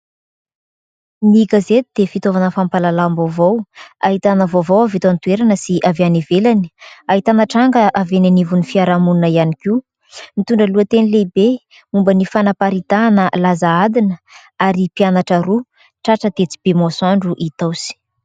Ny gazety dia fitaovana fampahalalam-vaovao ahitana vaovao avy eto an-toerana sy avy any ivelany, ahitana tranga avy eny anivon'ny fiarahamonina ihany koa ; mitondra lohateny lehibe momba ny fanaparitahana laza adina ary mpianatra roa tratra tetsy be Bemasoandro Itaosy.